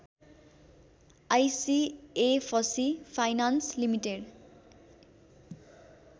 ICFC Finance limited